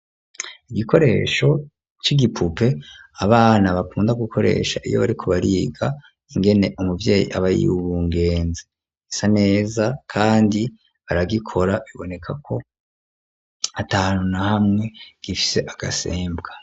Igikoresho c'igipupe abana bakunda gukoresha iyo bariko bariga ingene umuvyeyi aba yibungenze gisa neza kandi baragikora biboneka ko atahantu na hamwe gifise agasembwa.